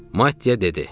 Matteya dedi: